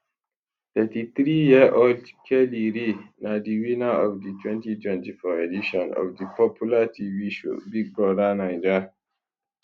33yearold kellyrae na di winner of di 2024 edition of di popular tv show big brother naija